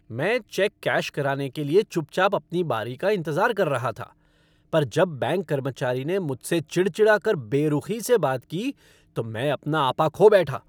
मैं cheque cash कराने के लिए चुप चाप अपनी बारी का इंतजार कर रहा था, पर जब बैंक कर्मचारी ने मुझसे चिड़चिड़ा कर बेरुखी से बात की तो मैं अपना आपा खो बैठा।